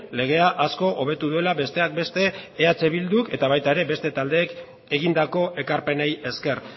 legea asko hobetu duela besteak beste eh bildu eta baita ere beste taldeek egindako ekarpenei esker